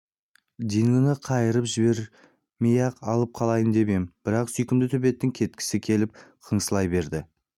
дингоны қайырып жібермей-ақ алып қалайын деп ем бірақ сүйкімді төбеттің кеткісі келіп қыңсылай берді